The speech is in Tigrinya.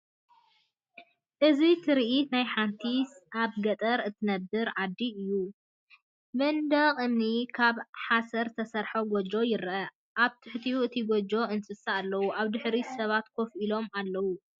እዚ ትርኢት ናይ ሓንቲ ኣብ ገጠር እትርከብ ዓዲ እዩ። መንደቕ እምኒን ካብ ሓሰር ዝተሰርሐ ጎጆን ይርአ። ኣብ ትሕቲ እቲ ጎጆ እንስሳታት ኣለዉ። ኣብ ድሕሪት ሰባት ኮፍ ኢሎም ኣለዉ።